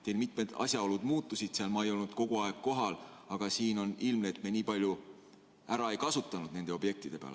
Teil mitmed asjaolud muutusid, ma ei olnud kogu aeg kohal, aga siin on ilmne, et me nii palju ei ole ära kasutanud nende objektide peale.